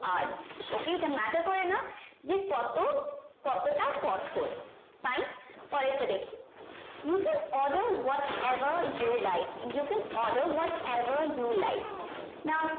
hard okay এটা matter করে না যে কত কতটা কঠোর fine পরের টা দেখি you can order what ever you like you can order what ever you like now